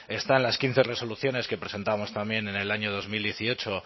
está en las quince resoluciones que presentamos también en el año dos mil dieciocho